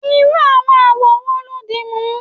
irú àwọn awọ wo lo dimu